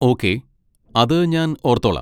Okay, അത് ഞാൻ ഓർത്തോളാം.